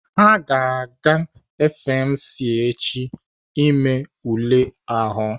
Ha ga-aga FMC echi ime ule ahụ.